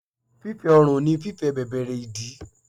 Fífẹ́ ọrùn ni fífẹ̀ bẹ̀bẹ̀rẹ́ ìdí.